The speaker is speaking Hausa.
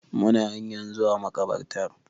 Muna hanyan zuwa makabartar